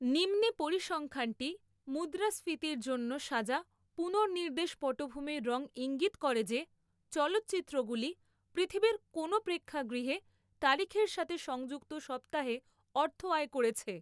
নিম্নে পরিসংখ্যানটি মুদ্রাস্ফীতির জন্য সাজা পুনর্নির্দেশ পটভূমির রং ঈঙ্গিত করে যে চলচ্চিত্রগুলি পৃথিবীর কোনও প্রেক্ষাগৃহে তারিখের সাথে সংযুক্ত সপ্তাহে অর্থ আয় করেছে।